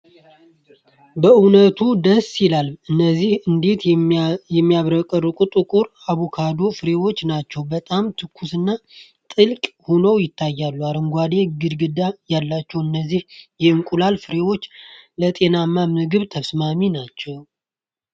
በእውነት ደስ ይላል! እነዚህ እንዴት የሚያብረቀርቁ ጥቁር አቡካዶ ፍሬዎች ናቸው! በጣም ትኩስና ትልቅ ሆነው ይታያሉ! አረንጓዴ ግንድ ያላቸው እነዚህ የእንቁላል ፍሬዎች ለጤናማ ምግብ ተስማሚ ናቸው!